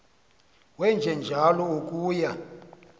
wenje njalo akuyi